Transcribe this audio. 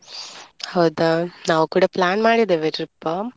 ಹೌದಾ ನಾವು ಕೂಡ plan ಮಾಡಿದೇವೆ trip .